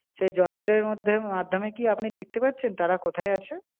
সেই যন্ত্রের মধ্যে মাধ্যমে কি আপনি দেখতে পাচ্ছেন তারা কথায় আছে?